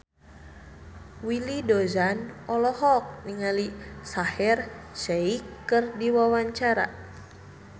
Willy Dozan olohok ningali Shaheer Sheikh keur diwawancara